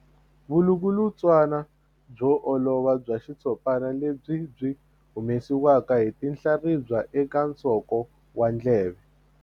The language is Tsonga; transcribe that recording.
Vulukulutswana byo olova bya xitshopana lebyi byi humesiwaka hi tinhlaribya eka nsoko wa ndleve.